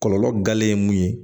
Kɔlɔlɔ gale ye mun ye